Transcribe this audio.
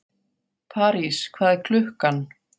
París, hvað er klukkan?